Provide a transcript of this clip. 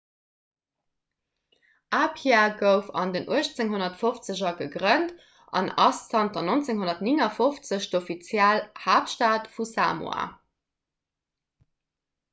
apia gouf an den 1850er gegrënnt an ass zanter 1959 d'offiziell haaptstad vu samoa